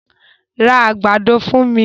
Ra àgbàdo fún mi!